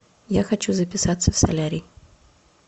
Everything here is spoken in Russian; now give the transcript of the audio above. я хочу записаться в солярий